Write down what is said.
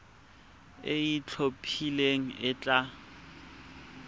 e e itlhophileng e tla